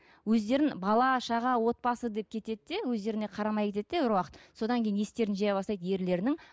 өздерін бала шаға отбасы деп кетеді де өздеріне қарамай кетеді де бір уақыт содан кейін естерін жия бастайды ерлерінің